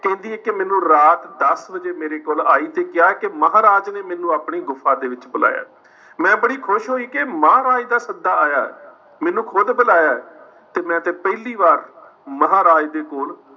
ਕਹਿੰਦੀ ਹੈ ਕਿ ਮੈਨੂੰ ਰਾਤ ਦੱਸ ਵਜੇ ਮੇਰੇ ਕੋਲ ਆਈ ਤੇ ਕਿਹਾ ਕਿ ਮਹਾਰਾਜ ਨੇ ਮੈਨੂੰ ਆਪਣੀ ਗੁਫਾ ਦੇ ਵਿੱਚ ਬੁਲਾਇਆ ਹੈ। ਮੈਂ ਬੜੀ ਖੁਸ਼ ਹੋਈ ਕਿ ਮਹਾਰਾਜ ਦਾ ਸੱਦਾ ਆਇਆ ਹੈ, ਮੈਨੂੰ ਖੁੱਦ ਬੁਲਾਇਆ ਹੈ ਤੇ ਮੈਂ ਤੇ ਪਹਿਲੀ ਵਾਰ ਮਹਾਰਾਜ ਦੇ ਕੋਲ